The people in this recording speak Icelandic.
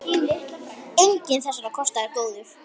Enginn þessara kosta er góður.